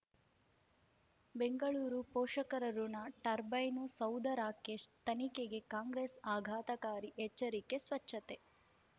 ಬೆಂಗಳೂರು ಪೋಷಕರಋಣ ಟರ್ಬೈನು ಸೌಧ ರಾಕೇಶ್ ತನಿಖೆಗೆ ಕಾಂಗ್ರೆಸ್ ಆಘಾತಕಾರಿ ಎಚ್ಚರಿಕೆ ಸ್ವಚ್ಛತೆ